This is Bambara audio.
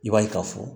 I b'a ye k'a fɔ